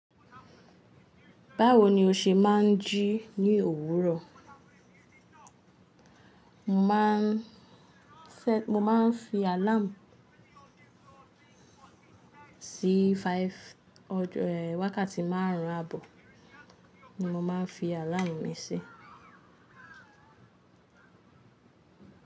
Báwo ni o ṣe máa ń jí ní òwúrọ̀? Mo máa ń fẹ́, mo máa ń fi àláàmù sí five, wákàtí márùn-ún àbọ̀ ni mo máa ń fi àláàmù mi sí.